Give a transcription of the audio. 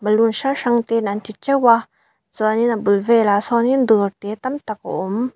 balloon hrang hrang ten an ti teuh a chuanin a bul velah sawn in dawr te tam tak a awm.